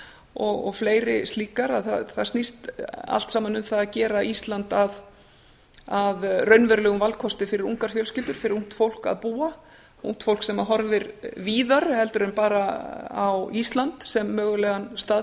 og fleiri slíkar að það snýst allt saman um það að gera ísland að raunverulegum valkosti fyrir ungar fjölskyldur fyrir ungt fólk að búa ungt fólk sem horfir víðar heldur en bara á ísland sem mögulegan stað